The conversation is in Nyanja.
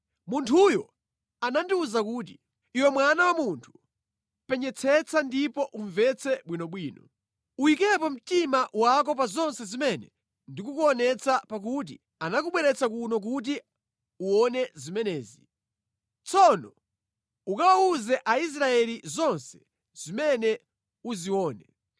Munthuyo anandiwuza kuti, “Iwe mwana wa munthu, penyetsetsa ndipo umvetse bwinobwino. Uyikepo mtima wako pa zonse zimene ndikukuonetsa pakuti anakubweretsa kuno kuti uwone zimenezi. Tsono ukawawuze Aisraeli zonse zimene uzione.”